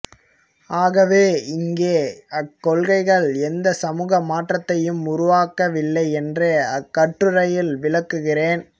ஆகவே இங்கே அக்கொள்கைகள் எந்த சமூக மாற்றத்தையும் உருவாக்கவில்லை என்று அக்கட்டுரையில் விளக்குகிறேன்